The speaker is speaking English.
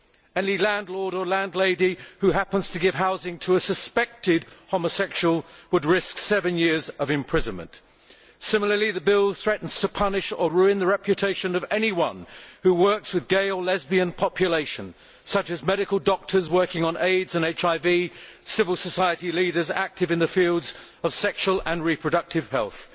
any landlord or landlady who happens to give housing to a suspected' homosexual would risk seven years of imprisonment. Similarly, the bill threatens to punish or ruin the reputation of anyone who works with a gay or lesbian population, such as medical doctors working on AIDS and HIV, civil society leaders active in the fields of sexual and reproductive health,